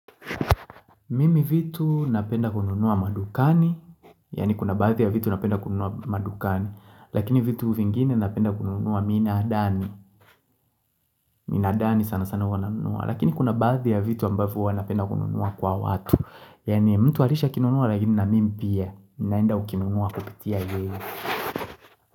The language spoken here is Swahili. Mimi vitu napenda kununua madukani Yani kuna baadhi ya vitu napenda kununua madukani. Lakini vitu vingine napenda kununua minaadani. Minaadani sana sana huwa nanunua. Lakini kuna baadhi ya vitu ambavyo huwa napenda kununua kwa watu, yaani mtu alishakinunua lakini na mimi pia. Naenda ukinunua kupitia yeye.